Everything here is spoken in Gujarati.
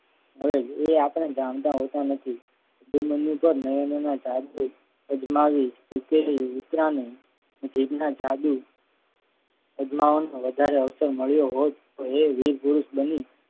હવે એ આપણા જાણતા હોતા નથી. દૂર મંદિર પર નયન ના ઝાડથી અજમાવી જીભના જાદુ અજમાવાનો વધારે અવસર મળ્યો હોત તો એ વીરપુરુષ બની.